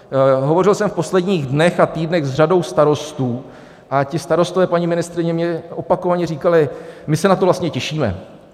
Hovořil jsem v posledních dnech a týdnech s řadou starostů a ti starostové, paní ministryně, mě opakovaně říkali: My se na to vlastně těšíme.